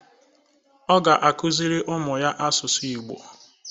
Ọ ga-akụziri ụmụ ya asụsu Igbo.